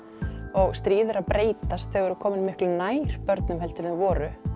og stríð eru að breytast þau eru komin miklu nær börnum en þau voru